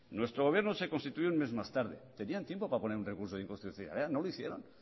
nuestro gobierno se constituyó un mes más tarde tenían tiempo para poner un recurso de inconstitucionalidad no lo hicieron